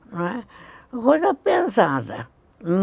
Não é, uma coisa pesada.